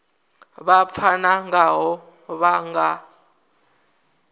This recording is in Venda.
vha pfana ngaho vha nga